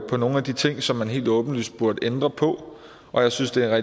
på nogle af de ting som man helt åbenlyst burde ændre på og jeg synes det er